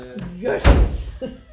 Jøsses!